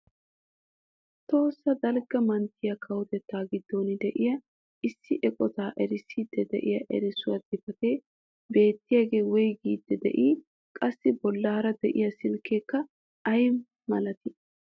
Tohossa dalgga manttiyaa kawotettaa giddon de'iyaa issi eqotaa erissiidi de'iyaa erissuwaa xifatee beettiyaagee woygiidi de'ii? qassi bollaara de'iyaa siileekka ayi milatii?